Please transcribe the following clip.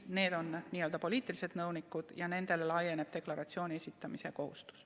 Need on n-ö poliitilised nõunikud ja nendele laieneb deklaratsiooni esitamise kohustus.